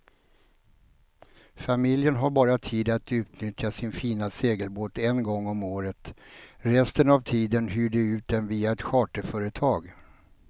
Familjen har bara tid att utnyttja sin fina segelbåt en gång om året, resten av tiden hyr de ut den via ett charterföretag.